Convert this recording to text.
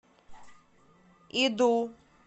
иду